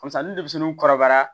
Parisa ni denmisɛnninw kɔrɔbayara